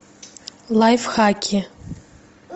лайфхаки